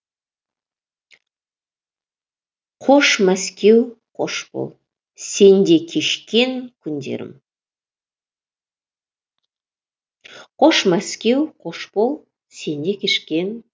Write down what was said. қош мәскеу қош бол сенде кешкен күндерім